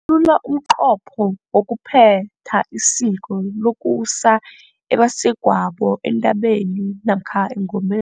Hlathulula umnqopho wokuphetha isiko lokusa ebasegwabo entabeni namkha engomeni.